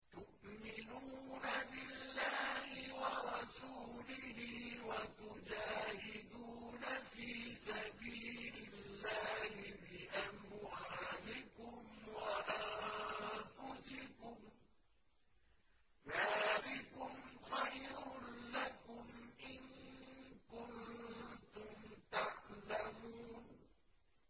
تُؤْمِنُونَ بِاللَّهِ وَرَسُولِهِ وَتُجَاهِدُونَ فِي سَبِيلِ اللَّهِ بِأَمْوَالِكُمْ وَأَنفُسِكُمْ ۚ ذَٰلِكُمْ خَيْرٌ لَّكُمْ إِن كُنتُمْ تَعْلَمُونَ